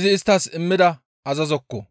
izi isttas immida azazokko.